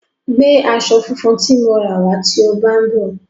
Gbé aṣọ funfun tí mo ra wá tí ó bá ń bọ̀.